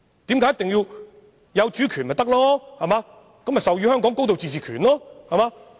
不是擁有主權，便可授予香港高度自治權嗎？